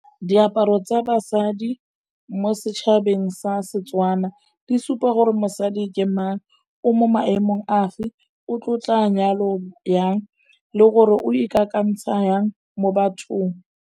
Diaparo tsa basadi mo setšhabeng sa Setswana, di supa gore mosadi ke mang, o mo maemong a fe, o tlotla nyalo jang le gore o ikakantsha jang mo bathong.